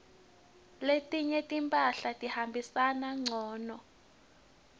letinye timphahla tihambisana ngcunu